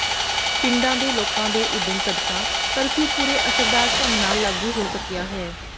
ਪਿੰਡਾਂ ਦੇ ਲੋਕਾਂ ਦੇ ਉਦਮ ਸਦਕਾ ਕਰਫਿਊ ਪੂਰੇ ਅਸਰਦਾਰ ਢੰਗ ਨਾਲ ਲਾਗੂ ਹੋ ਸਕਿਆ ਹੈ